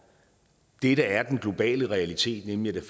det der er den globale realitet nemlig at